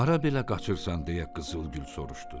Hara belə qaçırsan deyə Qızıl Gül soruşdu.